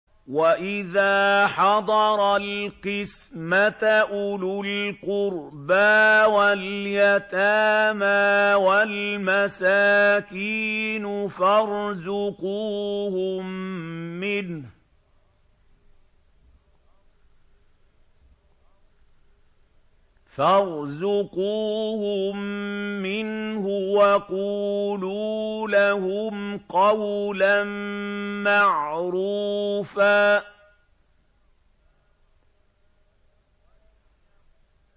وَإِذَا حَضَرَ الْقِسْمَةَ أُولُو الْقُرْبَىٰ وَالْيَتَامَىٰ وَالْمَسَاكِينُ فَارْزُقُوهُم مِّنْهُ وَقُولُوا لَهُمْ قَوْلًا مَّعْرُوفًا